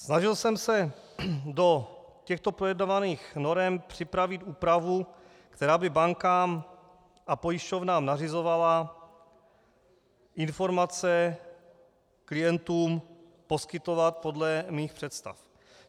Snažil jsem se do těchto projednávaných norem připravit úpravu, která by bankám a pojišťovnám nařizovala informace klientům poskytovat podle mých představ.